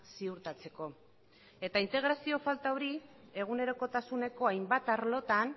ziurtatzeko integrazio falta hori egunerokotasuneko hainbat arlotan